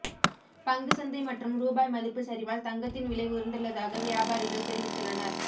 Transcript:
பங்குச் சந்தை மற்றும் ரூபாய் மதிப்பு சரிவால் தங்கத்தின் விலை உயர்ந்துள்ளதாக வியாபாரிகள் தெரிவித்துள்ளனர்